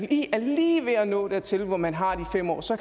er lige ved at nå dertil hvor man har de fem år så